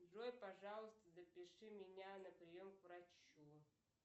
джой пожалуйста запиши меня на прием к врачу